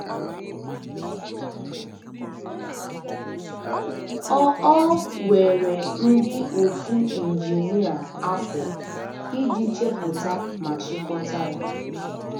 Ọ Ọ were ndị otu injinia afọ iji chepụta ma chịkọta ya.